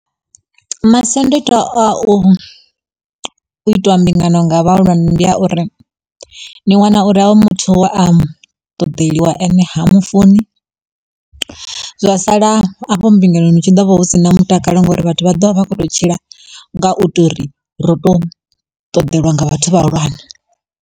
Masiandoitwa a u itiwa mbingano nga vhahulwane ndi a uri, ni wana uri hoyu muthu we a ṱoḓeliwe ane ha mufuni zwa sala afho mbingano hu tshi ḓo vha hu si na mutakalo ngauri vhathu vha ḓovha vha kho to tshila nga u to uri ro to ṱoḓelwa nga vhathu vhahulwane.